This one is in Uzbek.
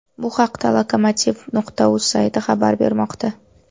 Bu haqda lokomotiv.uz sayti xabar bermoqda.